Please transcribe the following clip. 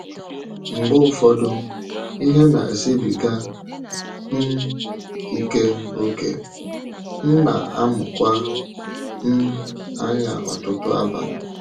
Mgbe ụfọdụ, ihe na-esịbìgà um ike ókè, m na-amụkwa um anya ọtụtụ abalị.